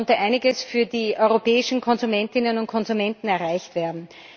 Es konnte einiges für die europäischen Konsumentinnen und Konsumenten erreicht werden.